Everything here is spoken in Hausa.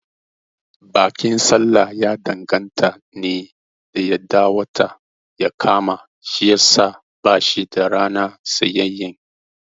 Bikin sallah ya danganta ne da yadda wata ya kama shiyasa bashi da rana tsayayyen